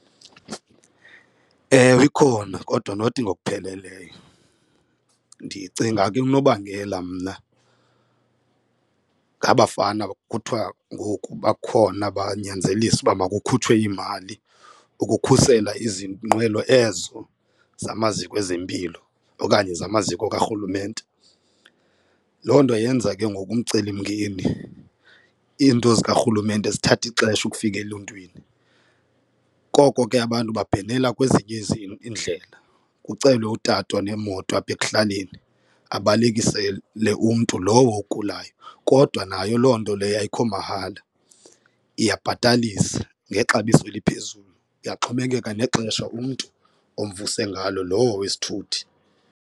Ewe, ikhona kodwa not ngokupheleleyo. Ndicinga ke ungunobangela mna ngaba 'fana khuthiwa ngoku bakhona banyanzelisa uba makukhutshwe iimali ukukhusela izinqwelo ezo zamaziko ezempilo okanye zamaziko karhulumente. Loo nto yenza ke ngoku umcelimngeni iinto zikarhulumente zithathe ixesha ukufika eluntwini. Koko ke ke abantu babhenela kwezinye iindlela, kucelwe utata onemoto apha ekuhlaleni abalekisele umntu lowo ogulayo kodwa nayo loo nto leyo ayikho mahala iyabhatalisa ngexabiso eliphezulu kuyaxhomekeka nexesha umntu omvuso ngalo lowo wesithuthi.